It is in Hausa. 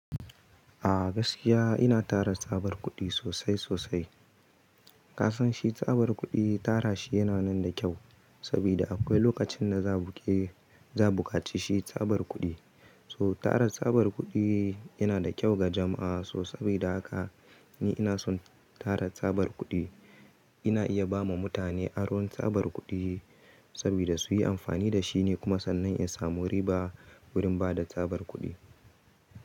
A gaskiya ina tara tsabar kuɗi sosai sosai. Ka san shi tsabar kuɗi tara shi yana nan da kyau saboda akwai lokacin da za buƙe, za buƙaci shi tsabar kuɗi. So tara tsabar kuɗi yana da kyau ga jama'a. So saboda haka ni ina son tara tsabar kuɗi. Ina iya ba ma mutane aron tsabar kuɗi saboda su yi amfani da shi ne kuma sannan in samu riba wurin ba da tsabar kuɗi.